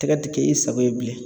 Tɛgɛ ti kɛ i sago ye bilen.